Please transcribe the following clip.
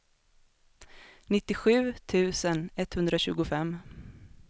nittiosju tusen etthundratjugofem